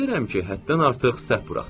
Bilirəm ki, həddən artıq səhv buraxdım.